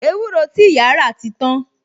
Ewúro ti ìyá rà ti tan